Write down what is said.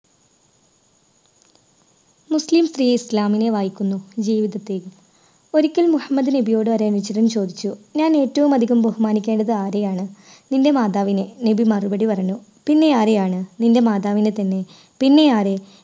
മുസ്ലിം സ്ത്രീ ഇസ്ലാമിനെ വായിക്കുന്നു ജീവിതത്തിൽ. ഒരിക്കൽ മുഹമ്മദ് നബിയോട് ഒരു അനുചരൻ ചോദിച്ചു ഞാൻ ഏറ്റവും അധികം ബഹുമാനിക്കേണ്ടത് ആരെയാണ്? നിൻറെ മാതാവിനെ നബി മറുപടി പറഞ്ഞു പിന്നെ ആരെയാണ്? നിൻറെ മാതാവിനെ തന്നെ പിന്നെ ആരെ?